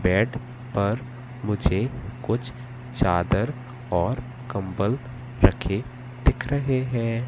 Bed पर मुझे कुछ चादर और कंबल रखे दिख रहे हैं।